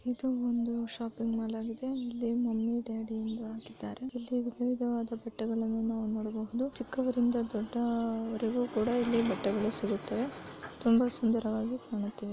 ಇದು ಒಂದು shopping mall ಆಗಿದೆ ಇಲ್ಲಿ ಮಮ್ಮಿ ಡ್ಯಾಡಿ ಎಂದು ಹಾಕಿದ್ದಾರೆ ಇಲ್ಲಿ ವಿಧ ವಿದವಾದ ಬಟ್ಟೆಗಳನ್ನು ನಾವು ನೋಡಬಹುದು ಚಿಕ್ಕವರಿಂದ ದೊಡ್ಡಾ ವರಿಗು ಕೂಡ ಇಲ್ಲಿ ಬಟ್ಟೆಗಳು ಸಿಗುತ್ತವೆ ತುಂಬ ಸುಂದರವಾಗಿ ಕಾಣುತ್ತಿವೆ.